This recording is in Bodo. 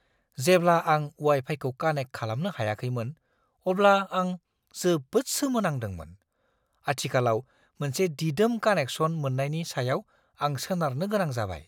जेब्ला आं वाइ-फाइखौ कानेक्ट खालामनो हायाखैमोन, अब्ला आं जोबोद सोमो नांदोंमोन। आथिखालाव, मोनसे दिदोम कानेकसन मोन्नायनि सायाव आं सोनारनो गोनां जाबाय!